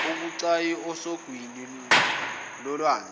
ebucayi esogwini lolwandle